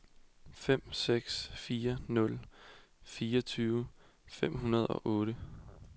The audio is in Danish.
fem seks fire nul fireogtyve fem hundrede og otte